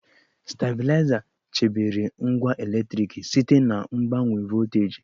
Stabịlaịza chebere ngwa eletriki site na mgbanwe volteji.